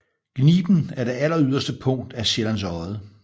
Gniben er det alleryderste punkt af Sjællands Odde